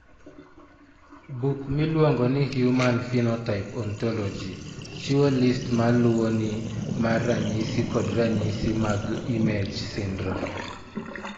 Buk miluongo ni Human Phenotype Ontology chiwo list ma luwoni mar ranyisi kod ranyisi mag IMAGe syndrome.